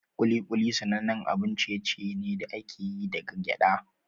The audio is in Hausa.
Kuli-kuli sanannen abun ciye-ciye ne da aka yi daga gyada.